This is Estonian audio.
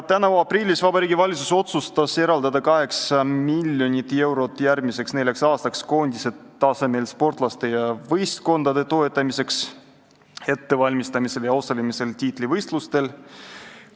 Tänavu aprillis otsustas Vabariigi Valitsus eraldada 8 miljonit eurot järgmiseks neljaks aastaks koondise tasemel sportlaste ja võistkondade toetamiseks, nende ettevalmistamiseks ja osalemiseks tiitlivõistlustel.